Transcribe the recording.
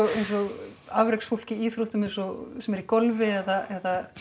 eins og afreksfólk í íþróttum eins og sem er í golfi eða